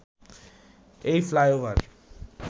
এই ফ্লাইওভার